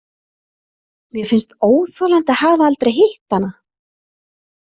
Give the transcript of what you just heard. Mér finnst óþolandi að hafa aldrei hitt hana.